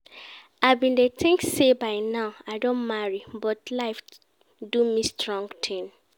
I bin dey think say by now I don marry but life do me strong thing